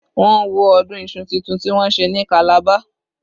Mo wo ọdún Isu títun tí wọ́n ṣe ní calabar.